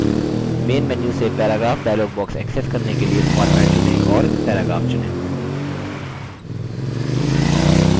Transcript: main menu से paragraph dialog box access करने के लिए format चुनें और paragraph चुनें